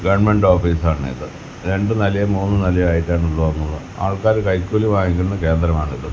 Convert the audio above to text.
Government office ആണിത് രണ്ടുനിലയും മൂന്നുനിലയും ആയിട്ടാണ് ഉള്ളത് ആൾക്കാര് കൈക്കൂലി വാങ്ങിക്കുന്ന കേന്ദ്രമാണിത്.